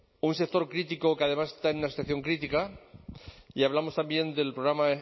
un sector crítico que además está en una situación crítica y hablamos también del programa